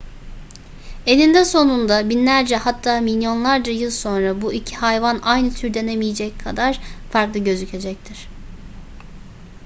eninde sonunda binlerce hatta milyonlarca yıl sonra bu iki hayvan aynı tür denemeyecek kadar farklı gözükecektir